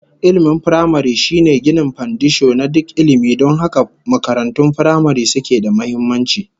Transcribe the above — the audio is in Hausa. Ilmin firamare shine ginin fandisho na duk ilmi, don haka makarantun firamare suke da muhimmanci